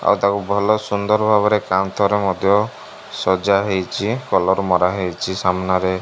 ଆଉ ତାକୁ ଭଲ ସୁନ୍ଦର ଭାବରେ କାନ୍ଥରେ ମଧ୍ୟ ସଜାହେଇଛି କଲର୍ ମରାହେଇଛି ସାମ୍ନାରେ --